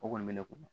O kɔni bɛ ne kun